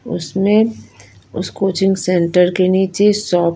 उसमे उस coaching centre के नीचे सो--